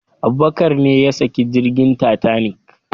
Abubakar ne yasaki jirgin tatanik